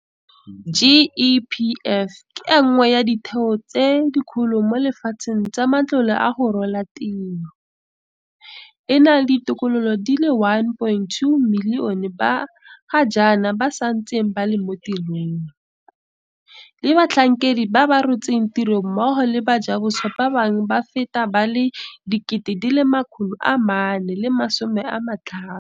GEPF ke e nngwe ya ditheo tse dikgolo mo lefatsheng tsa matlole a go rola tiro, e na le ditokololo di le 1.2 milione ba ga jaana ba santseng ba le mo tirong, le batlhankedi ba ba rotseng tiro mmogo le bajaboswa ba bangwe ba feta ba le 450 000.